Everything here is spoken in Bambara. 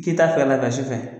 K'i ta kila ka sufɛ